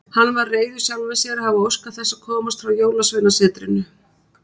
Hann var reiður sjálfum sér að hafa óskað þess að komast frá Jólasveinasetrinu.